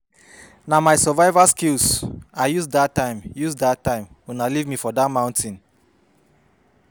Na my survival skills I use dat use dat time una leave me for dat mountain